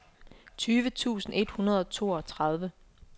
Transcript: tyve tusind et hundrede og toogtredive